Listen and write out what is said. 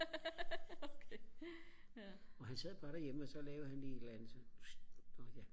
ja og han sad bare derhjemme og så lavede han lige et eller andet